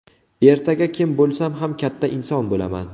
Ertaga kim bo‘lsam ham katta inson bo‘laman.